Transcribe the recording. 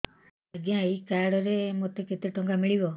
ଆଜ୍ଞା ଏଇ କାର୍ଡ ରେ ମୋତେ କେତେ ଟଙ୍କା ମିଳିବ